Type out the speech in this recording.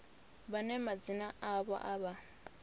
vhane madzina avho a vha